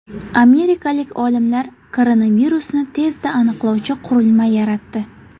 Amerikalik olimlar koronavirusni tezda aniqlovchi qurilma yaratdi.